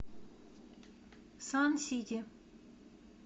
сан сити